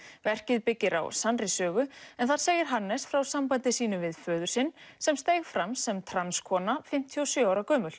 verkið byggir á sannri sögu en þar segir Hannes frá sambandi sínu við föður sinn sem steig fram sem fimmtíu og sjö ára gömul